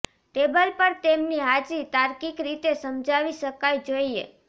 table પર તેમની હાજરી તાર્કિક રીતે સમજાવી શકાય જોઈએ